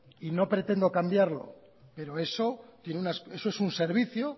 y no pretendo cambiarlo pero eso es un servicio